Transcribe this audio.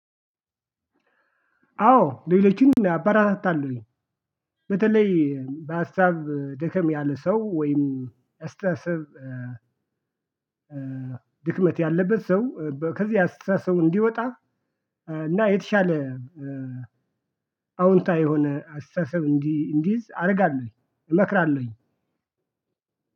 አዎ ሌሎችን አበረታታለሁኝ። በተለይ በሀሳብ ደከም ያለ ሰው ወይም አስተሳሰብ። ድክመት ያለበት ሰው ከዚህ አስተሳሰብ እንዲወጣ። እና የተሻለ አውንታዊ የሆነ አስተሳሰብ እንዲይዝ አደርጋለሁኝ እመክራለሁኝ።